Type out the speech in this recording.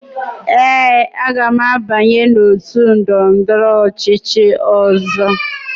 Ee, aga m abanye n'otu ndọrọndọrọ ọchịchị ọzọ.